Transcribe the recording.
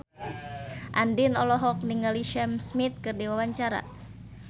Andien olohok ningali Sam Smith keur diwawancara